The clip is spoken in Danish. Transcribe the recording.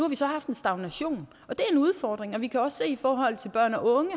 vi så haft en stagnation og det er en udfordring og vi kan også i forhold til børn og unge